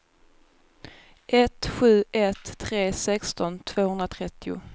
ett sju ett tre sexton tvåhundratrettio